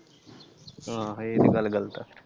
ਆਹ ਇਹ ਤੇ ਗੱਲ ਗੱਲਤ ਆ ।